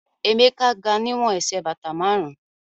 Emeka ga niwon ẹsẹ̀ bata márùn-ún